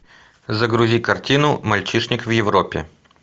загрузи картину мальчишник в европе